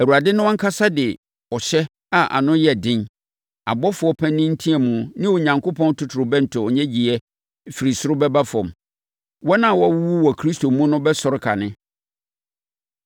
Awurade no ankasa de ɔhyɛ a ano yɛ den, ɔbɔfoɔ panin nteamu ne Onyankopɔn totorobɛnto nnyegyeeɛ firi ɔsoro bɛba fam. Wɔn a wɔawuwu wɔ Kristo mu no bɛsɔre kane,